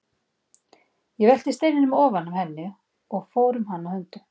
Ég velti steininum ofan af henni og fór um hana höndum.